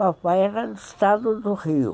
Papai era do estado do Rio.